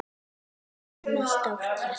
Vinur með stórt hjarta.